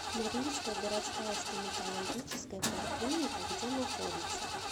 норильская городская стоматологическая поликлиника где находится